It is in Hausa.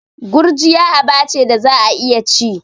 Gurjiya aba ce da za'a iya ci.